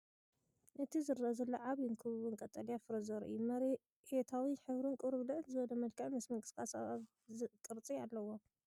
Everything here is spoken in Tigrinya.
እቲ ዝረአ ዘሎ ዓቢን ክቡብን ቀጠልያ ፍረ ዘርኢ እዩ፤ መሬታዊ ሕብሪን ቁሩብ ልዕል ዝበለ መልክዕን ምስ ምንቅስቓስ ኣብ ቅርጺ ኣለዎ።